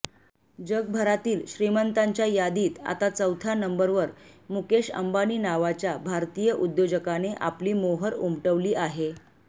जगभरातील श्रीमंतांच्या यादीत आता चौथ्या नंबरवर मुकेश अंबानी नावाच्या भारतीय उद्योजकाने आपली मोहोर उमटवली आहे